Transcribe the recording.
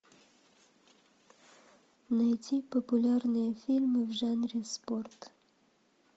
найти популярные фильмы в жанре спорт